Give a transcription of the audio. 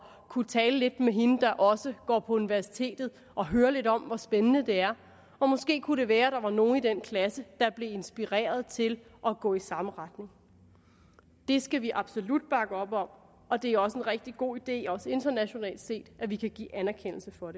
kunne tale lidt med hende der også går på universitetet og høre lidt om hvor spændende det er og måske kunne det være at der var nogle i den klasse der blev inspireret til at gå i samme retning det skal vi absolut bakke op om og det er også en rigtig god idé også internationalt set at vi kan give anerkendelse for